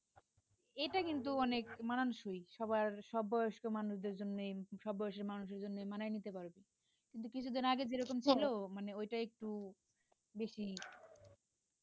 এটা কিন্তু অনেক মানানসই সবার সব বয়স্ক মানুষদের জন্য সব মানুষদের জন্যই মানায় নিতে পারবে কিন্তু কিছুদিন আগে যেরকম ছিল মানে ওইটা একটু বেশি